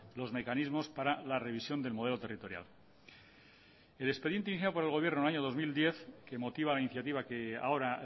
los mecanismos para la revisión del modelo territorial el expediente iniciado por el gobierno en el año dos mil diez que motiva la iniciativa que ahora